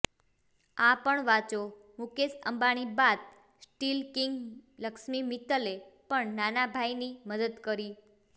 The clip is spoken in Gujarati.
આ પણ વાંચોઃ મુકેશ અંબાણી બાદ સ્ટીલ કિંગ લક્ષ્મી મિત્તલે પણ નાના ભાઇની મદદ કરી